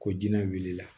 Ko jinɛ wulila